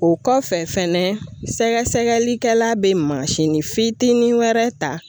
O kɔfɛ fɛnɛ sɛgɛsɛgɛlikɛla bɛ fitinin wɛrɛ ta.